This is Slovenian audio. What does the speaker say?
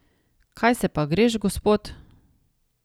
Kaj se pa greš, gospod?